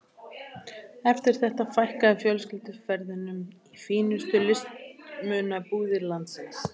Eftir þetta fækkaði fjölskylduferðunum í fínustu listmunabúðir landsins.